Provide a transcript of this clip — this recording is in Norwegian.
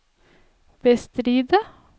bestride